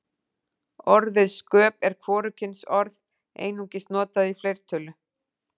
Orðið sköp er hvorugkynsorð, einungis notað í fleirtölu.